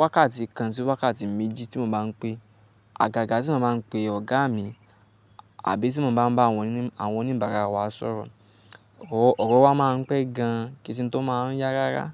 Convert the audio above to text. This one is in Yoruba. wákàtí kan sí wákàtí méjì tí mo bá n pè. Àgàgà tí mo bá n pè ọ̀gá mi àbí tí mo bá n bá àwọn oníbàárà wa sọ̀rọ̀, ọ̀rọ̀ wa má n pẹ́ gan ke se n tó má n yá rárá.